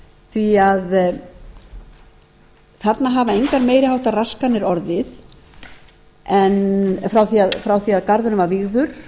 því þarna hafa engar meiri háttar raskanir orðið en frá því að garðurinn var vígður